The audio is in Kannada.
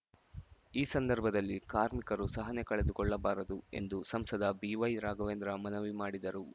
ಈ ಸಂದರ್ಭದಲ್ಲಿ ಕಾರ್ಮಿಕರು ಸಹನೆ ಕಳೆದುಕೊಳ್ಳಬಾರದು ಎಂದು ಸಂಸದ ಬಿವೈ ರಾಘವೇಂದ್ರ ಮನವಿ ಮಾಡಿದರು